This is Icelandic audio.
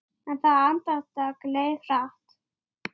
Tvö niðri í fjöru.